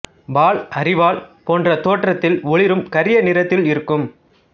வால் அரிவால் போன்ற தோற்றத்தில் ஒளிரும் கரிய நிறத்தில் இருக்கும்